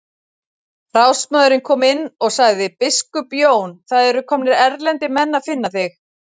Ráðsmaðurinn kom inn og sagði:-Biskup Jón, það eru komnir erlendir menn að finna þig.